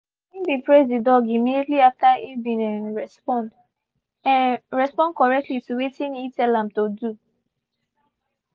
he been praise the dog immediately after e been um respond um respond correctly to wetin he tell am to do.